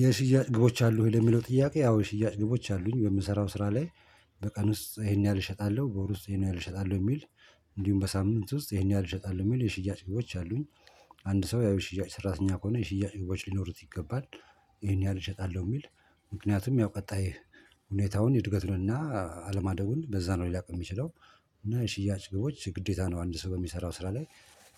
የሽያጭ ግቦች አሉ ወይ? ለሚለው ጥያቄ አዎ የሽያጭ ግቦች አሉኝ በምሰራው ስራ ላይ በቀን ውስጥ ይሄን ያህል እሸጣለሁ በወር ውስጥ ይሄን ያህል እሸጣለሁ የሚል እንዲሁም በሳምንት ውስጥ ይሄን ያህል እሸጣለው የሚል የሽያጭ ግቦች አሉኝ። አንድ ሰው ያው የሽያጭ ሰራተኛ ከሆነ የሽያጭ ግቦች ሊኖሩት ይገባል። ይሄን ያህል እሸጣለሁ የሚል ምክንያቱም ያው ቀጣይ ሁኔታውን እድገቱንና አለማደጉን በዛ ነው ሊያውቅ የሚችለው። እና የሽያጭ ግቦች ግዴታ ነው አንድ ሰው በሚሰራው ስራ ላይ።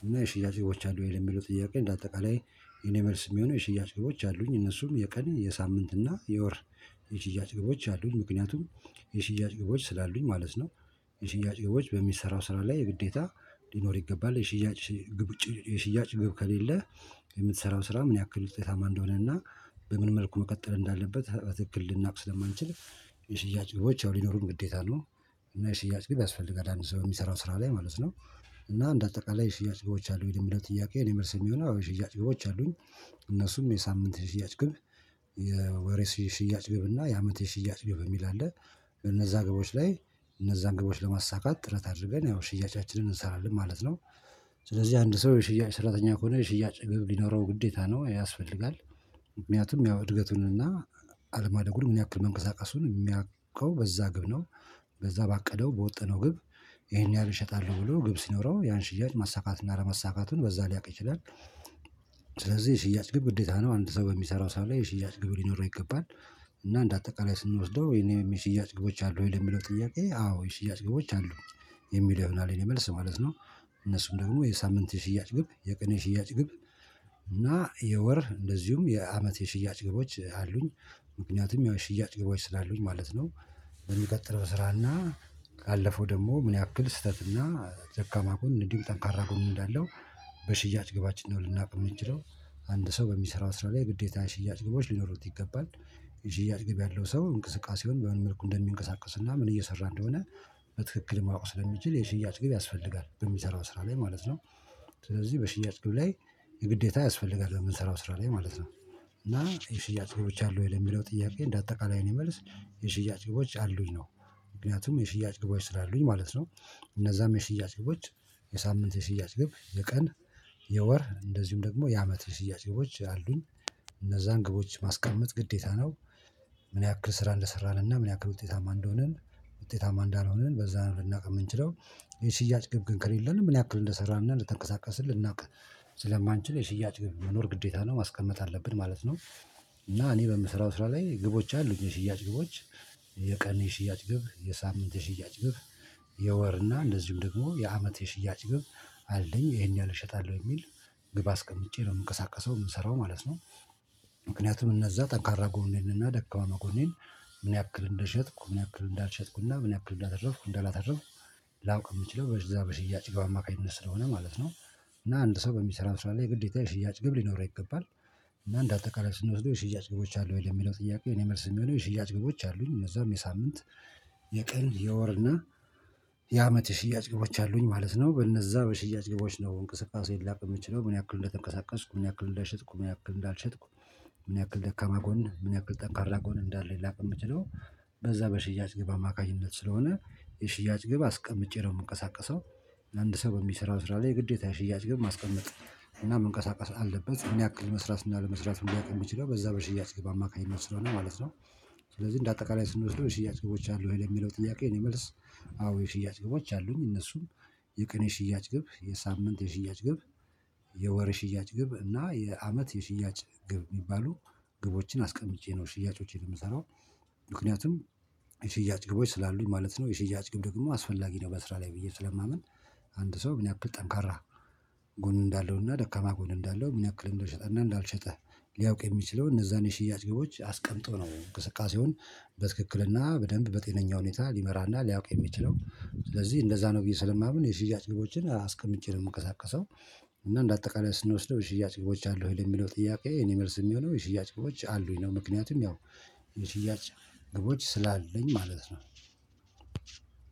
እና የሽያጭ ግቦች አሉህ ለሚለው ጥያቄ እንደ አጠቃላይ የኔ መልስ የሚሆነው የሽያጭ ግቦች አሉኝ እነሱም የቀን የሳምንት እና የወር የሽያጭ ግቦች አሉኝ ምክንያቱም የሽያጭ ግቦች ስላሉኝ ማለት ነው። የሽያጭ ግቦች በሚሰራው ስራ ላይ ግዴታ ሊኖር ይገባል የሽያጭ ግብ ውጪ የሽያጭ ግብ ከሌለ የምትሰራው ስራ ምን ያክል ውጤታማ እንደሆነ እና በምን መልኩ መቀጠል እንዳለበት በትክክል ልናውቅ ስለማንችል። የሽያጭ ግቦች ያው ሊኖሩን ግዴታ ነው። እና የሽያጭ ግብ ያስፈልጋል አንድ ሰው የሚሰራው ስራ ላይ ማለት ነው። እና እንደ አጠቃላይ የሽያጭ ግቦች አሉ የሚለው ጥያቄ የኔ መልስ የሚሆነው የሽያጭ ግቦች አሉኝ። እነሱም የሳምንት የሽያጭ ግብ የወር የሽያጭ ግብ እና የአመት የሽያጭ ግብ የሚል አለ። እነዛ ግቦች ላይ እነዛን ግቦች ለማሳካት ጥረት አድርገን ያው ሽያጫችንን እንሰራለን ማለት ነው። ስለዚህ አንድ ሰው የሽያጭ ሰራተኛ ከሆነ የሽያጭ ግብ ሊኖረው ግዴታ ነው ይሄ ያስፈልጋል። ምክንያቱም ያው እድገቱንና አለማደጉን ምን ያክል መንቀሳቀሱን የሚያውቀው በዛ ግብ ነው። በዛ ባቀደው በወጠነው ግብ ይሄን ያህል እሸጣለሁ ብሎ ግብ ሲኖረው ያን ሽያጭ ማሳካትና አለማሳካቱን በዛ ሊያቅ ይችላል። ስለዚህ የሽያጭ ግብ ግዴታ ነው አንድ ሰው በሚሰራው ስራ ላይ የሽያጭ ግብ ሊኖረው ይገባል እና እንደ እንደአጠቃላይ ስንወስደው እኔም የሽያጭ ግቦች አሉ ወይ ለሚለው ጥያቄ አዎ የሽያጭ ግቦች አሉ። የሚለው ይሆናል የእኔ መልስ ማለት ነው። እነሱም ደግሞ የሳምንት የሽያጭ ግብ የቀን የሽያጭ ግብ እና የወር እንደዚሁም የአመት የሽያጭ ግቦች አሉኝ። ምክንያቱም ያው የሽያጭ ግቦች ስላሉኝ ማለት ነው። በሚቀጥለው እሰራና ካለፈው ደግሞ ምን ያክል ስህተትና ደካማ ጎን እንዲሁም ጠንካራ ጎን እንዳለው በሽያጭ ግባችን ነው ልናውቅ የምንችለው አንድ ሰው በሚሰራው ስራ ላይ ግዴታ የሽያጭ ግቦች ሊኖሩት ይገባል። የሽያጭ ግብ ያለው ሰው እንቅስቃሴውን በምን በመልኩ እንደሚንቀሳቀስና ምን እየሰራ እንደሆነ በትክክል ማወቅ ስለሚችል የሽያጭ ግብ ያስፈልጋል በሚሰራው ስራ ላይ ማለት ነው። ስለዚህ በሽያጭ ግብ ላይ የግዴታ ያስፈልጋል በምንሰራው ስራ ላይ ማለት ነው። እና የሽያጭ ግቦች አሉ ወይ ለሚለው ጥያቄ እንደ አጠቃላይ የእኔ መልስ የሽያጭ ግቦች አሉኝ ነው። ምክንያቱም የሽያጭ ግቦች ስላሉኝ ማለት ነው። እነዛም የሽያጭ ግባዎች የሳምንት የሽያጭ ግብ የቀን የወር እንደዚሁም ደግሞ የአመት የሽያጭ ግቦች አሉኝ። እነዛን ግቦች ማስቀመጥ ግዴታ ነው። ምን ያክል ስራ እንደሰራን እና ምን ያክል ውጤታማ እንደሆንን ውጤታማ እንዳልሆንን በዛ ነው ልናውቅ የምንችለው። የሽያጭ ግብ ግን ከሌለን ምን ያክል እንደሰራንና እንደተንቀሳቀስን ልናውቅ ስለማንችል የሽያጭ መኖር ግዴታ ነው ማስቀመጥ አለብን ማለት ነው። እና እኔ በምሰራው ስራ ላይ ግቦች አሉኝ የሽያጭ ግቦች። የቀን የሽያጭ ግብ የሳምንት የሽያጭ ግብ የወር እና እንደዚሁም ደግሞ የአመት የሽያጭ ግብ አለኝ ይሄን ያህል እሸጣለው የሚል ግብ አስቀምጬ ነው የምንቀሳቀሰው የምሰራው ማለት ነው። ምክንያቱም እነዛ ጠንካራ ጎኔንና ደካማ ጎኔን ምን ያክል እንደሸጥኩ ምን ያክል እንዳልሸጥኩና ምን ያክል እንዳተረፍኩ እንዳላተረፍኩ ላውቅ የምችለው በዛ በሽያጭ ግብ አማካኝነት ስለሆነ ማለት ነው። እና አንድ ሰው በሚሰራው ስራ ላይ ግዴታ የሽያጭ ግብ ሊኖረው ይገባል። እና እንደ አጠቃላይ ስንወስደው የሽያጭ ግቦች አሉ ወይ የሚለው ጥያቄ የእኔ መልስ የሚሆነው የሽያጭ ግቦች አሉኝ። እነዛም የሳምንት የቀን የወርና የአመት የሽያጭ ግቦች አሉኝ ማለት ነው። በእነዛ በሽያጭ ግቦች ነው እንቅስቃሴ ላውቅ የምችለው ምን ያክል እንደተንቀሳቀስኩ ምን ያክል እንደሸጥኩ ምን ያክል እንዳልሸጥኩ ምን ያክል ደካማ ጎን ምን ያክል ጠንካራ ጎን እንዳለኝ ላቅ የምችለው። በዛ በሽያጭ ግብ አማካኝነት ስለሆነ የሽያጭ ግብ አስቀምጬ ነው የምንቀሳቀሰው። አንድ ሰው በሚሰራው ስራ ላይ የግዴታ የሽያጭ ግብ ማስቀመጥ እና መንቀሳቀስ አለበት ምን ያክል መስራት እና አለመስራቱን ሊያውቅ የሚችለው በዛ በሽያጭ ግብ አማካኝነት ስለሆነ ማለት ነው። ስለዚህ እንደ አጠቃላይ ስንወስደው የሽያጭ ግቦች አሉ ወይ ለሚለው ጥያቄ የእኔ መልስ አዎ የሽያጭ ግቦች አሉኝ። እነሱም የቀን የሽያጭ ግብ የሳምንት የሽያጭ ግብ። የወር የሽያጭ ግብ እና የአመት የሽያጭ ግብ የሚባሉ ግቦችን አስቀምጬ ነው ሽያጮቼን ምሰራው። ምክንያቱም የሽያጭ ግቦች ስላሉኝ ማለት ነው። የሽያጭ ግብ ደግሞ አስፈላጊ ነው በስራ ላይ ብዬ ስለማምን። አንድ ሰው ምን ያክል ጠንካራ ጎን እንዳለውና ደካማ ጎን እንዳለው ምን ያክል እንደሸጠ እና እንዳልሸጠ ሊያውቅ የሚችለው እነዛን የሽያጭ ግቦች አስቀምጦ ነው እንቅስቃሴውን በትክክልና በደንብ በጤነኛ ሁኔታ ሊመራና ሊያውቅ የሚችለው ስለዚህ እንደዛ ነው ብዬ ስለማምን የሽያጭ ግቦችን አስቀምጬ ነው የምንቀሳቀሰው። እና እንደ አጠቃላይ ስንወስደው የሽያጭ ግቦች አሉ ወይ ለሚለው ጥያቄ የእኔ መልስ የሚሆነው የሽያጭ ግቦች አሉኝ ነው። ምክንያቱም ያው የሽያጭ ግቦች ስላለኝ ማለት ነው